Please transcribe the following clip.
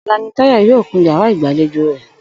Ò̩la ni Táyò̩ yóò kun yàrá ìgbàlejò rè̩